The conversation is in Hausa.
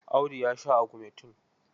Audu ya sha agumetin.